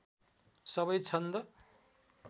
सबै छन्द